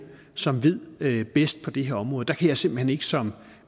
som ved ved bedst på det her område der kan jeg simpelt hen ikke som